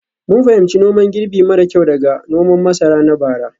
mun fahimci noman girbi mara kyau daga noman masara na bara.